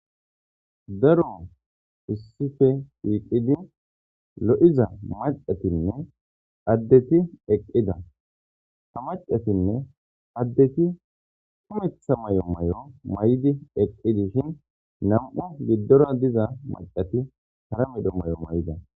daro eissife iiqidi lo7iza macatinne addeti eqqida hamacatinne addeti kumetha may7o may7o may7di eqqidishin nam7u giddora diza macati hara medho may7o may7ida